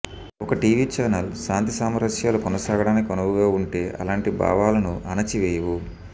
ఒక TV channel శాంతి సామరస్యాలు కొనసాగడానికి అనువుగా ఉంటే అలాంటి భావాలను అణచి వేయవు